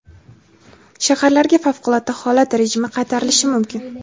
Shaharlarga favqulodda holat rejimi qaytarilishi mumkin.